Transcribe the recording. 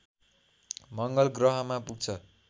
मङ्गलग्रहमा पुग्छ